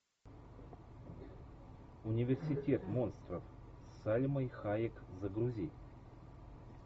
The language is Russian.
университет монстров с сальмой хайек загрузи